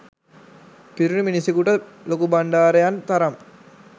පිරුණු මිනිසකුට ලොකුබණ්ඩාරයන් තරම්